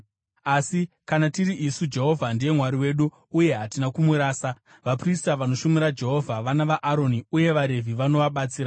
“Asi kana tiri isu, Jehovha ndiye Mwari wedu, uye hatina kumurasa. Vaprista vanoshumira Jehovha vana vaAroni, uye vaRevhi vanovabatsira.